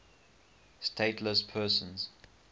stateless persons